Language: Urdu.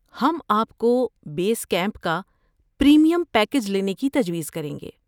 ہم آپ کو بیس کیمپ کا پریمیم پیکیج لینے کی تجویز کریں گے۔